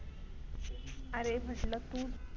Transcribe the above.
अरे म्हंटल तू